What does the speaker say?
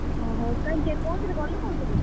ଓହୋ ତାହେଲେ କୋଉଥିରେ ଗଲୁ କୋଉଥିରେ?